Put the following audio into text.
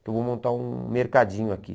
Então eu vou montar um mercadinho aqui.